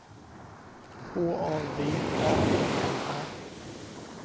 H A V A N N A